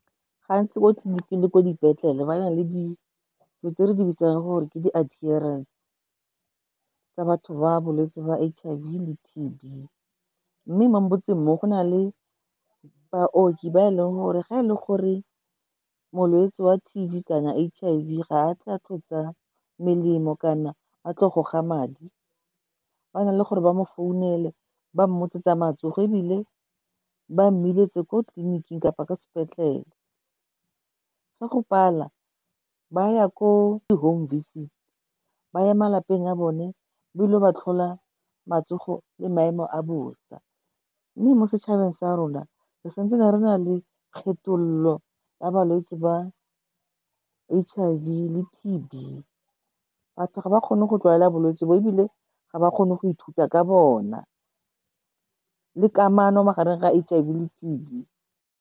Gantsi ko tleliniking le ko dipetlele, ba na le dilo tse re di bitsang gore ke di tsa batho ba bolwetse ba H_I_V le T_B. Mme mo motseng mo go na le baoki ba e leng gore ga e le gore molwetse wa T_B kana H_I_V ga a tle a tlo tsaya melemo kana a tlo goga madi, ba na le gore ba mo founele, ba mmotse tsa matsogo, ebile ba mmiletse ko tleliniking kapa ko sepetlele. Ga go pala, ba ya ko di-home visits, ba ya malapeng a bone, ba ilo ba tlhola matsogo le maemo a bosa. Mme mo setšhabeng sa rona, re santse na re na le kgethololo ya ba balwetse ba H_I_V le T_B. Batho ga ba kgone go tlwaela bolwetse bo, ebile ga ba kgone go ithuta ka bona le kamano magareng ga H_I_V le T_B.